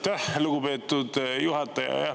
Aitäh, lugupeetud juhataja!